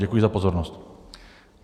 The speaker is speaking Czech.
Děkuji za pozornost.